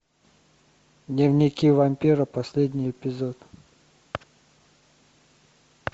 дневники вампира последний эпизод